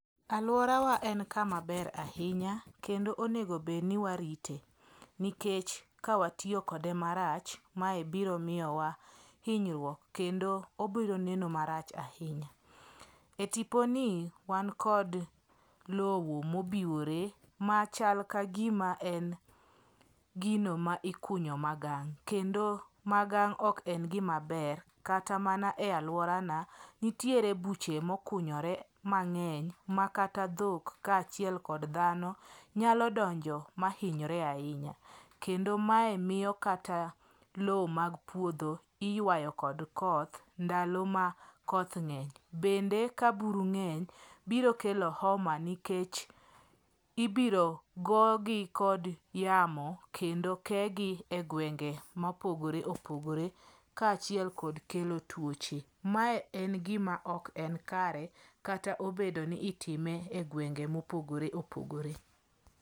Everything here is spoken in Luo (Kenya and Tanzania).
Alworawa en kama ber ahinya kendo onego bed ni warite, nikech ka watiyo kode marach, mae biro miyowa hinyruok kendo obiro neno marach ahinya. E tiponi wan kod lowo mobiwore machal ka gima en gino ma ikunyo magang' kendo magang' ok en gima ber kata mana e alworana nitiere buche mokunyore mang'eny ma kata dhok kaachiel kod dhano nyalo donjo mahinyre ahinya. Kendo miyo kata lowo mag puodho iywayo kod koth ndalo ma koth ng'eny. Bende ka buru ng'eny biro kelo homa nikech ibiro gogi kod yamo kendo kegi e gwenge mopogore opogore kaachiel kod kelo tuoche. Mae ok en gima kare kata obedo ni itime e gwenge mopogore opogore.